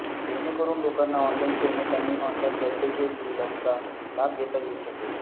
जेणेकरून लोकांना online payment आणि ऑनलाइन वैद्यकीय सुविधांचा लाभ घेता येऊ शकेल